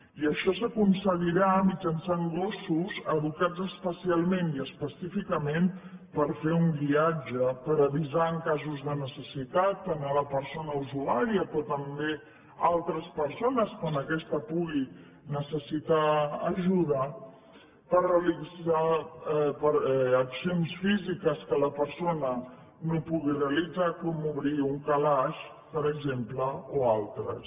i això s’aconseguirà mitjançant gossos educats especialment i específicament per fer un guiatge per avisar en casos de necessitat a la persona usuària però també a altres persones quan aquesta pugui necessitar ajuda per realitzar accions físiques que la persona no pugui realitzar com obrir un calaix per exemple o altres